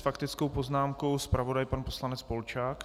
S faktickou poznámkou zpravodaj, pan poslanec Polčák.